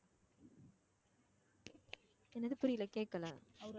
எனது புரியல கேக்கல